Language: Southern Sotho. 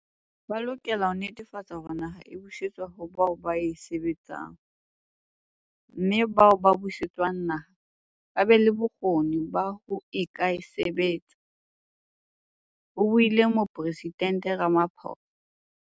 "Ba lokela ho netefatsa hore naha e busetswa ho bao ba e sebetsang mme bao ba buse tswang naha ba be le bokgoni ba ho ka e sebetsa," ho buile Moporesident Rama phosa.